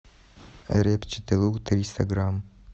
репчатый лук триста грамм